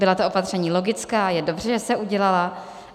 Byla to opatření logická, je dobře, že se udělala.